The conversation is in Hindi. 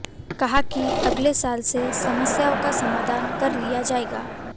कहा कि अगले साल से समस्याओं का समाधान कर लिया जाएगा